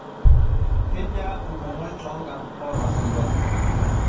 Kejia olmomoi too nkarn oo lafirikani